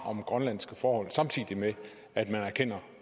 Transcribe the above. om grønlandske forhold samtidig med at man erkender